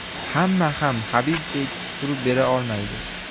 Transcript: Hamma ham Habibdek turib bera olmaydi.